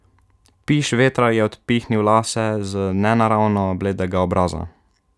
Piš vetra je odpihnil lase z nenaravno bledega obraza.